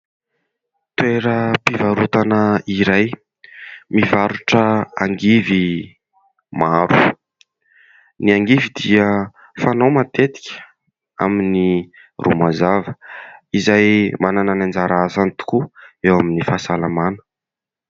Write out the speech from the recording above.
Toeram-pivarotana iray mivarotra angivy maro. Ny angivy dia fanao matetika amin'ny romazava izay manana ny anjara asany tokoa eo amin'ny fahasalamana.